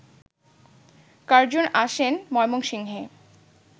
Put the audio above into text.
Curzon আসেন ময়মনসিংহে